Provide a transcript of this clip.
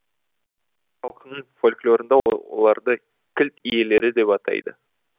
халқының фольклорында оларды кілт иелері деп атайды